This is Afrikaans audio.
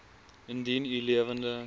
indien u lewende